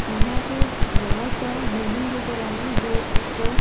यहां पे बड़ा सा बिल्डिंग नजर आ रही हैजो एक--